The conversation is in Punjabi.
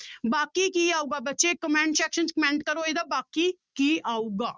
ਬਾਕੀ ਕੀ ਆਊਗਾ ਬੱਚੇ comment section 'ਚ comment ਕਰੋ ਇਹਦਾ ਬਾਕੀ ਕੀ ਆਊਗਾ।